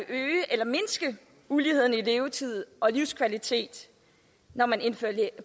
øge eller mindske uligheden i levetid og livskvalitet når man indfører